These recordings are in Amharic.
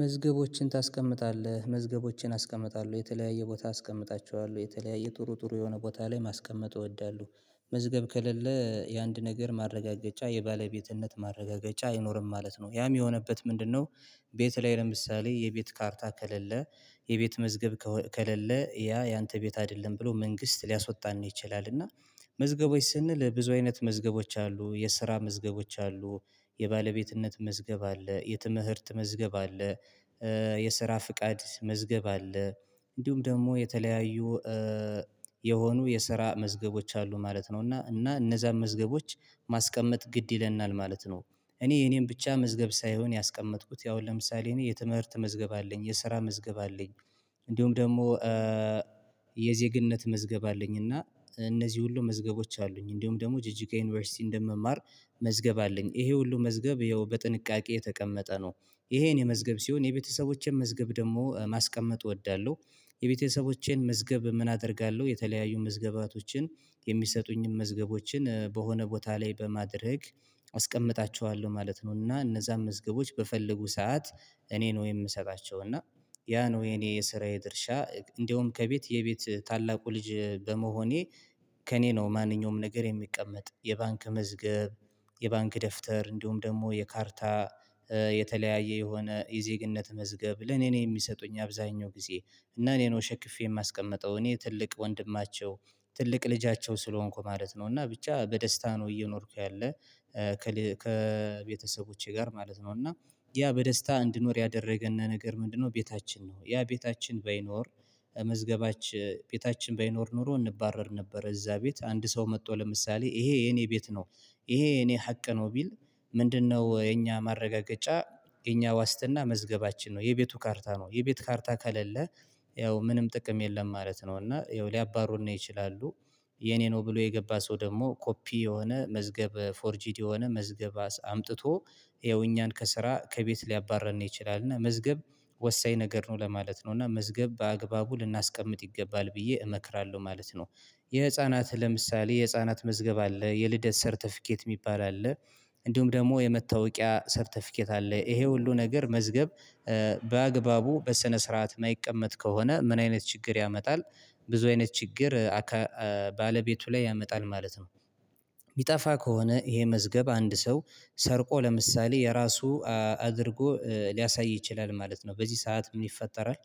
መዝገቦችን ታስቀምጣለህ መዝገቦችን አስቀምጣለሁ የተለያየ ቦታ አስቀምጣቸዋለሁ የተለያየ ጥሩ ጥሩ የሆነ ቦታ ላይ ማስቀመጥ እወዳለሁ። መዝገብ ከሌለ የአንድ ነገር ማረጋገጫ የባለቤትነት ማረጋገጫ አይኖርም ማለት ነው ያም የሆነበት ምንድነው? ቤት ላይ ለምሳሌ የቤት ካርታ ከሌለ የቤት መዝገብ ከሌለ ያ ያንተ ቤት አይደለም ብሎ መንግስት ሊያስወጣን ነው ይችላል። እና መዝገቦች ስንል ብዙ አይነት መዝገቦች አሉ የስራ መዝገቦች አሉ የባለቤትነት መዝገብ አለ የትምህርት መዝገብ አለ። የስራ ፍቃድ መዝገብ አለ እንዲሁም ደግሞ የተለያዩ የሆኑ የስራ መዝገቦች አሉ ማለት ነው። እና እና እነዛን መዝገቦች ማስቀመጥ ግድ ይለናል ማለት ነው። እኔ የኔን ብቻ መዝገብ ሳይሆን ያስቀመጥኩት ያው ለምሳሌ እኔ የትምህርት መዝገብ አለኝ የስራ መዝገብ አለኝ። እንዲሁም ደግሞ የዜግነት መዝገብ አለኝ እና እነዚህ ሁሉ መዝገቦች አሉኝ እንዲሁም ደግሞ ጅጅጋ ዩኒቨርሲቲ እንደምማር መዝገብ አለኝ ይሄ ሁሉ መዝገብ ይኸው በጥንቃቄ የተቀመጠ ነው። ይሄን የመዝገብ ሲሆን የቤተሰቦቼን መዝገብ ደግሞ ማስቀመጥ እወዳለሁ። የቤተሰቦቼን መዝገብ ምን አደርጋለሁ የተለያዩ መዝገባቶችን የሚሰጡኝን መዝገቦችን በሆነ ቦታ ላይ በማድረግ አስቀምጣቸዋለሁ ማለት ነው። እና እነዛን መዝገቦች በፈለጉ ሰዓት እኔን ወይ የምሰጣቸው እና ያ ነው የኔ የስራዬ ድርሻ እንደውም ከቤት የቤት ታላቁ ልጅ በመሆኔ ከእኔ ነው። ማንኛውም ነገር የሚቀመጥ የባንክ መዝገብ የባንክ ደፍተር እንዲሁም ደግሞ የካርታ የተለያየ የሆነ የዜግነት መዝገብ ለኔ ነው። የሚሰጡኝ አብዛኛው ጊዜ እና እኔ ነው ሸክፌ የማስቀምጠው እኔ ትልቅ ወንድማቸው ትልቅ ልጃቸው ስለሆንኩ ማለት ነው። እና ብቻ በደስታ ነው እየኖርኩ ያለ ከቤተሰቦቼ ጋር ማለት ነው። እና ያ በደስታ እንድኖር ያደረገን ነገር ምንድነው ቤታችን ነው። ያ ቤታችን በይኖር መዝገባች ቤታችን በይኖር ኖሮ እንባረር ነበር። እዛ ቤት አንድ ሰው መጥቶ ለምሳሌ ይሄ የኔ ቤት ነው ይሄ የኔ ሀቅ ነው። ቢል ምንድነው? የኛ ማረጋገጫ የኛ ዋስትና መዝገባችን ነው የቤቱ ካርታ ነው የቤት ካርታ ከሌለ ያው ምንም ጥቅም የለም ማለት ነው። እና ያው ሊያባሩና ይችላሉ የኔ ነው ብሎ የገባ ሰው ደግሞ ኮፒ የሆነ መዝገብ ፎርጂድ የሆነ መዝገብ አምጥቶ ይኸው እኛን ከስራ ከቤት ሊያባርን ነው ይችላል። እና መዝገብ ወሳኝ ነገር ነው ለማለት ነው እና መዝገብ በአግባቡ ልናስቀምጥ ይገባል ብዬ እመክራለሁ ማለት ነው። የህፃናት ለምሳሌ የህፃናት መዝገብ አለ የልደት ሰርተፊኬት የሚባል አለ። እንዲሁም ደግሞ የመታወቂያ ሰርተፊኬት አለ ይሄ ሁሉ ነገር መዝገብ በአግባቡ በሰነ ስርዓት የማይቀመጥ ከሆነ ምን አይነት ችግር ያመጣል? ብዙ አይነት ችግር ባለቤቱ ላይ ያመጣል ማለት ነው። ቢጠፋ ከሆነ ይሄ መዝገብ አንድ ሰው ሰርቆ ለምሳሌ የራሱ አድርጎ ሊያሳይ ይችላል። ማለት ነው በዚህ ሰዓት ምን ይፈጠራል?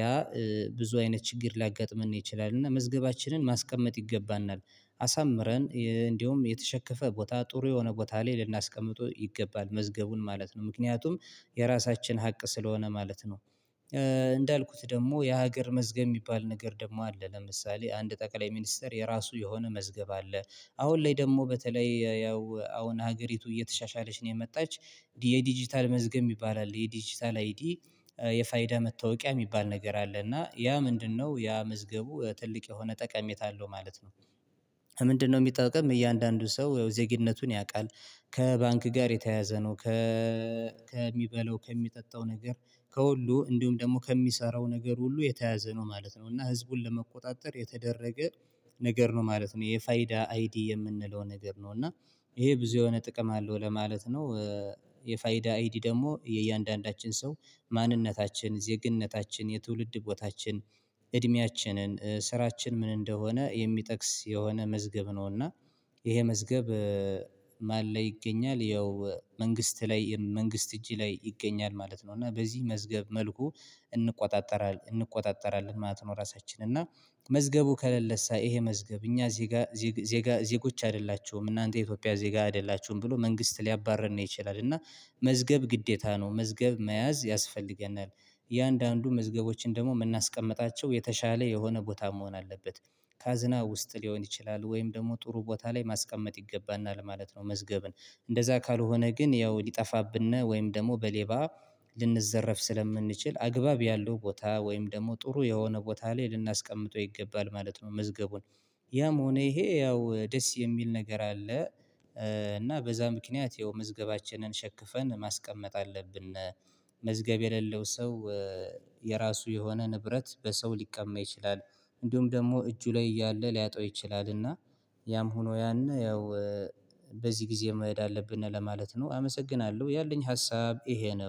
ያ ብዙ አይነት ችግር ሊያጋጥመን ይችላል እና መዝገባችንን ማስቀመጥ ይገባናል። አሳምረን እንደውም የተሸከፈ ቦታ ጥሩ የሆነ ቦታ ላይ ልናስቀምጠው ይገባል መዝገቡን ማለት ነው። ምክንያቱም የራሳችን ሀቅ ስለሆነ ማለት ነው። እንዳልኩት ደግሞ የሀገር መዝገብ የሚባል ነገር ደግሞ አለ ለምሳሌ አንድ ጠቅላይ ሚኒስተር የራሱ የሆነ መዝገብ አለ። አሁን ላይ ደግሞ በተለይ ያው አሁን ሀገሪቱ እየተሻሻለች ነው የመጣች የዲጂታል መዝገብ የሚባል አለ የዲጂታል አይዲ የፋይዳ መታወቂያ የሚባል ነገር አለ። እና ያ ምንድነው ያ መዝገቡ ትልቅ የሆነ ጠቀሜታ አለው ማለት ነው። ምንድነው? የሚጠቅም እያንዳንዱ ሰው ያው ዜግነቱን ያውቃል። ከባንክ ጋር የተያያዘ ነው ከ ከሚበለው ከሚጠጣው ነገር ከሁሉ እንዲሁም ደግሞ ከሚሰራው ነገር ሁሉ የተያዘ ነው ማለት ነው። እና ህዝቡን ለመቆጣጠር የተደረገ ነገር ነው ማለት ነው። የፋይዳ አይዲ የምንለው ነገር ነው እና ይሄ ብዙ የሆነ ጥቅም አለው ለማለት ነው። የፋይዳ አይዲ ደግሞ የእያንዳንዳችን ሰው ማንነታችን ዜግነታችን የትውልድ ህጎታችን እድሜያችንን ስራችን ምን እንደሆነ የሚጠቅስ የሆነ መዝገብ ነው። እና ይሄ መዝገብ ማን ላይ ይገኛል ያው መንግስት ላይ መንግስት እጅ ላይ ይገኛል ማለት ነው። እና በዚህ መዝገብ መልኩ እንቆጣጠራለን ማለት ነው። ራሳችን እና መዝገቡ ከለለሳ ይሄ መዝገብ እኛ ዜጋ ዜጎች አይደላቸውም እናንተ የኢትዮጵያ ዜጋ አይደላቸውም ብሎ መንግስት ሊያባርር ነው ይችላል። እና መዝገብ ግዴታ ነው መዝገብ መያዝ ያስፈልገናል። እያንዳንዱ መዝገቦችን ደግሞ የምናስቀምጣቸው የተሻለ የሆነ ቦታ መሆን አለበት። ካዝና ውስጥ ሊሆን ይችላል ወይም ደግሞ ጥሩ ቦታ ላይ ማስቀመጥ ይገባና ለማለት ነው። መዝገብን እንደዛ ካልሆነ ግን ያው ሊጠፋብን ወይም ደግሞ በሌባ ልንዘረፍ ስለምንችል አግባብ ያለው ቦታ ወይም ደግሞ ጥሩ የሆነ ቦታ ላይ ልናስቀምጠው ይገባል ማለት ነው። መዝገቡን ያም ሆነ ይሄ ያው ደስ የሚል ነገር አለ። እና በዛ ምክንያት ያው መዝገባችንን ሸክፈን ማስቀመጥ አለብን። ምዝገብ የሌለው ሰው የራሱ የሆነ ንብረት በሰው ሊቀመጥ ይችላል። እንዲሁም ደግሞ እጁ ላይ እያለ ሊያጣው ይችላል። እና ያም ሆኖ ያንን ያው በዚህ ጊዜ መሄድ አለብን ለማለት ነው። አመሰግናለሁ ያለኝ ሀሳብ ይሄ ነው